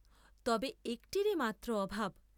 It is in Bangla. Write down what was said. তবে একটির মাত্র অভাব।